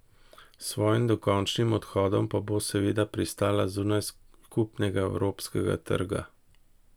S svojim dokončnim odhodom pa bo seveda pristala zunaj skupnega evropskega trga.